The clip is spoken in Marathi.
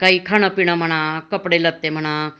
काही खान पिन म्हणा कपडे लत्ते म्हणा